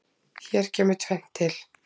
Hér kemur tvennt til.